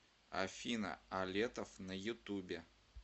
афина алетов на ютубе